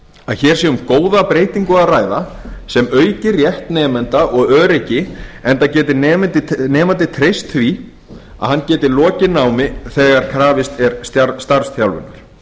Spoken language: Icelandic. að hér sé um góða breytingu að ræða sem auki rétt nemenda og öryggi enda geti nemandi treyst því að hann geti lokið námi þegar krafist er starfsþjálfunar